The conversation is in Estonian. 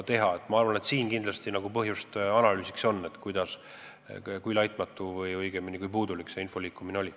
Aga minu arvates siin on kindlasti põhjust analüüsiks, kui laitmatu või õigemini kui puudlik selle info liikumine oli.